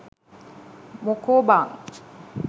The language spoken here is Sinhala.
මොකෝ බන්